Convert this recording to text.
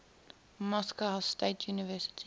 moscow state university